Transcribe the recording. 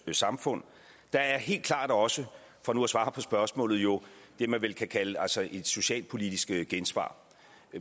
samfund der er helt klart også for nu at svare på spørgsmålet jo det man vel kan kalde et socialpolitisk gensvar